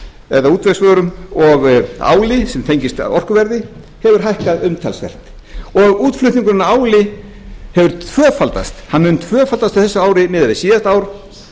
eða útvegsvörum og áli sem tengist orkuverði hefur hækkað umtalsvert og útflutningurinn á áli hefur tvöfaldast hann mun tvöfaldast á þessu ári miðað við síðasta ár